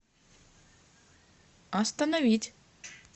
остановить